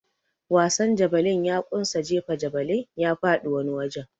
Wasan javeline ya kunsa jefa javeline ya faɗi wani wajen.